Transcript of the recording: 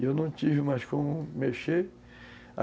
E eu não tive mais como mexer.